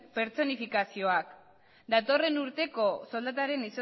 pertsonifikazioak datorren urteko soldataren